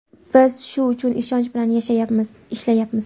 Biz shu ishonch bilan yashayapmiz, ishlayapmiz.